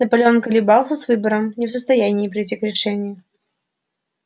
наполеон колебался с выбором не в состоянии прийти к решению